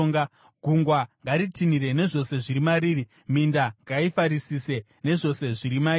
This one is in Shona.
Gungwa ngaritinhire nezvose zviri mariri; minda ngaifarisise nezvose zviri mairi.